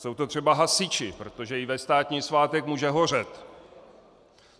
Jsou to třeba hasiči, protože i ve státní svátek může hořet.